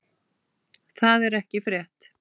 Það er ekki frétt.